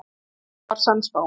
Hún var sannspá.